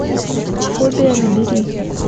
фобия набери